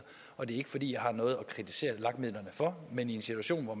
og det er ikke fordi jeg har noget at kritisere lag midlerne for men i en situation hvor